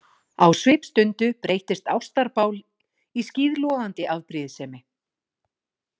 Á svipstundu breytist ástarbál í skíðlogandi afbrýðisemi.